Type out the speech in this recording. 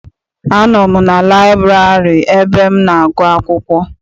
Anọ m na laịburarị ebe m na-agụ akwụkwọ.